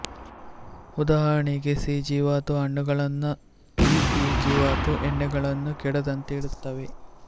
ಉದಾಹರಣೆಗೆ ಸಿ ಜೀವಾತು ಹಣ್ಣುಗಳನ್ನೂ ಇ ಜೀವಾತು ಎಣ್ಣೆಗಳನ್ನೂ ಕೆಡದಂತೆ ಇಡುತ್ತವೆ